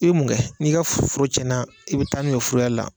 I bɛ mun kɛ n'i ka foro tiɲɛna, i bɛ taa n'u ye furuyɛrila.